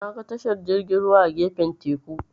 Naga tashar jirgin ruwa a gefen teku.